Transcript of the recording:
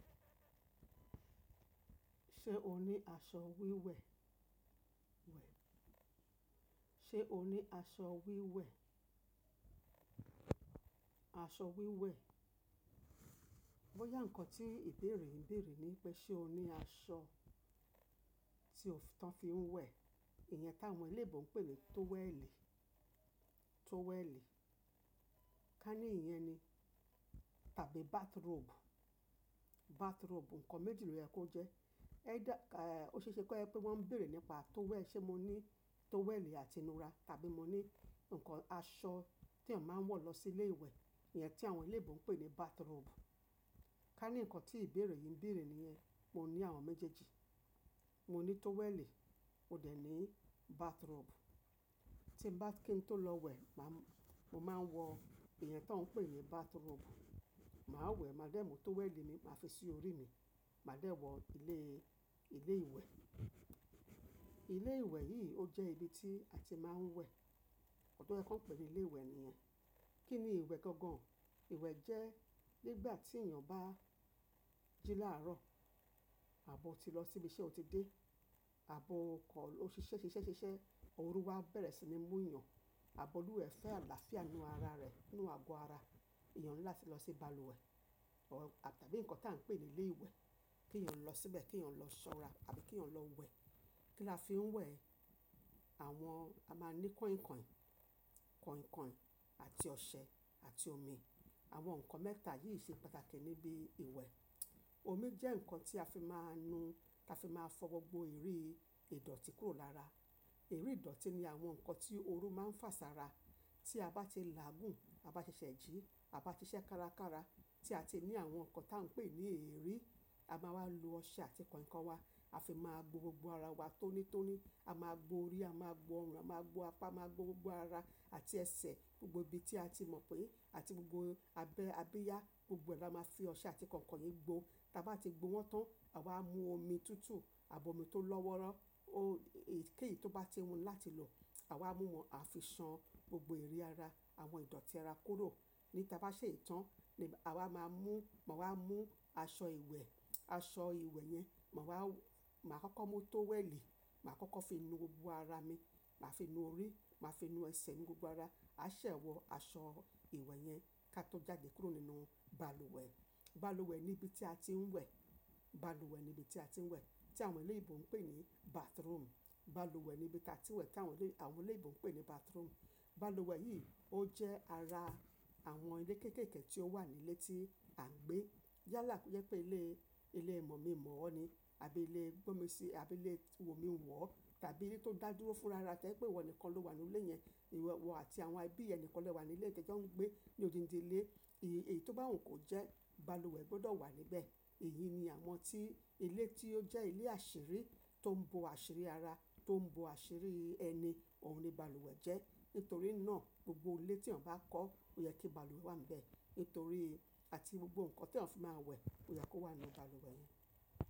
Ṣé o ní aṣọ wíwẹ̀? Ṣé o ní aṣọ wíwẹ̀? Aṣọ wíwẹ̀. Bóyá nǹkan tí ìbéèrè ń bèèrè ni pé ṣe o ní aṣọ tí o fi ń wẹ̀. Ìyẹn táwọn eléebù ń pè ní tówẹ́ẹ̀lì, tówẹ́ẹ̀lì. Ká ní ìyẹn ni. Tàbí bathrobe. Bathrobe. Ǹkan méjì ló yẹ kó jẹ́. Ẹ dá, eh, ó ṣe é ṣe pé wọ́n ń bèèrè nípa tówẹ́ẹ̀lì. Ṣé mo ní tówẹ́ẹ̀lì àti inúra tàbí mo ní nǹkan, aṣọ tí èèyàn máa ń wọ̀ lọ sí ilé ìwẹ̀. Ìyẹn tí àwọn eléebù ń pè ní bathrobe. Ká ní nǹkan tí ìbéèrè yìí ń bèèrè níyẹn. Mo ní àwọn méjèèjì. Mo ní tówẹ́ẹ̀lì, mo dẹ̀ ní bathrobe. Tí mo bá kí n tó lọ wẹ̀, màá, mo máa ń wọ Ìyẹn tó ń pè ní bathrobe. Màá wò, màá dẹ́ mu, tówẹ́ẹ̀lì mi màá fi sí orí mi. Màá dẹ̀ wọ ilé, ilé ìwẹ̀. Ilé ìwẹ̀ yìí ó jẹ́ ibi tí a ti máa ń wẹ̀. Ọ̀dọ́ ẹ kàn pẹ̀lú ilé ìwẹ̀ nìyẹn. Kí ni ìwẹ̀ gangan? Ìwẹ̀ jẹ́ nígbà tí èèyàn bá jí láàárọ̀, àbo ti lọ síbi tí ó ti dé, àbo kan ló ṣiṣẹ́ ṣiṣẹ́ ṣiṣẹ́, òru wá bẹ̀rẹ̀ sí ní mú èèyàn, àbo lúwẹ̀ẹ́ fẹ́ alàáfíà inú ara rẹ̀, inú àgọ́ ara. Èèyàn ńlá ti lọ sí balùwẹ̀ tàbí nǹkan tí à ń pè ní ilé ìwẹ̀ kí èèyàn lọ síbẹ̀, kí èèyàn lọ ṣọ́ra tàbí kí èèyàn lọ wẹ̀. Kí la fi ń wẹ̀? Àwọn, a máa ní kọ̀ìnkọ̀ìn, kọ̀ìnkọ̀ìn àti ọṣẹ àti omi. Àwọn nǹkan mẹ́ta yìí ṣe pàtàkì níbi ìwẹ̀. Omi jẹ́ nǹkan tí a fi máa ń nu, tí a fi máa fọ gbògbò ìrí ìdọ̀tí kúrò lára. Ìrí ìdọ̀tí ni àwọn nǹkan tí òru máa ń fà sá ara. Tí a bá ti làágùn, a bá ṣẹ̀ṣẹ̀ jí, a bá ṣiṣẹ́ kárakára, tí a ti ní àwọn nǹkan tí à ń pè ní èérí, a máa wá lo ọṣẹ àti kọ̀ìnkọ̀ìn wa. A fi máa gbò gbògbò árá wá tónítóní. A máa gbò òrí, a máa gbò órùn, a máa gbò apá, a máa gbò gbògbò aára àti ẹsẹ̀, gbògbò ibi tí a ti mọ̀ pé àti gbògbò abẹ́, ábíyá, gbogbo ẹ̀ dáa, máa fi ọṣẹ àti kọ̀ìnkọ̀ìn gbò. Tí a bá ti gbò wọ́n tán, àwa máa mú òmi tútù àbí òmi tó lọ́wọ́rọ́. Ó, èyíkèyí tó bá ti wù ò láti lò, àwa máa mú wọn, a fi sàn gbógbó ìrí ara, àwọn ìdọ̀tí ara kúrò. Ni tí a bá ṣe ìtàn ni, àwa máa mú, màá mú aṣọ ìwẹ̀, aṣọ ìwẹ̀ yẹn, màá wá, màá kọ́kọ́ mú tówẹ́ẹ̀lì, màá kọ́kọ́ fi nu gbògbò ára mi, màá fi nu orí, màá fi nu ẹsẹ̀ mi gbògbò ara. A ṣẹ̀ wọ aṣọ ìwẹ̀ yẹn ká tó jáde kúrò nínú balùwẹ̀. Balùwẹ̀ ni ibi tí a ti ń wẹ̀. Balùwẹ̀ ni ibi tí a ti ń wẹ̀ tí àwọn eléyíbò ń pè ní bathroom. Balùwẹ̀ ni ibi tí a ti ń wẹ̀ tí àwọn elé, àwọn eléyíbò ń pè ní bathroom. Balùwẹ̀ yìí ó jẹ́ ara àwọn ilé kéékèèké tí ó wà nílé tí à ń gbé. Yálà yẹ pé ilé, ilé ìmọ̀ mi mọ̀ ọ́ ni àbí ilé gbómi si, àbí ilé wò mí wọ̀ ò tàbí ilé tó dàdúró fúnra rẹ pé ìwọ nìkan ló wà nínú ilé yẹn. Ìwọ àti àwọn ẹbí rẹ nìkàn lé wà nílé tí ẹ ń jò n gbé ní odindi ilé. Èyí, èyí tó bá wù kó jẹ́, balùwẹ̀ gbọdọ̀ wà níbẹ̀. Èyí ni àmọ́ tí ilé tí ó jẹ́ ilé àṣírí tó ń bo àṣírí ara, tó ń bo àṣírí ẹni, òun ni balùwẹ̀ jẹ́. Nítorí náà gbògbò ilé tí èèyàn bá kọ́, ó yẹ kí balùwẹ̀ wà níbẹ̀. Nítorí, àti gbògbò nǹkan tí èèyàn fi máa ń wẹ̀ ó yẹ kó wà nínú balùwẹ̀ yẹn.